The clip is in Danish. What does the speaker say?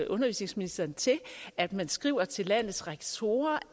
undervisningsministeren til at man skriver til landets rektorer